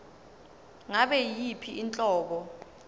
ngabe yiyiphi inhlobo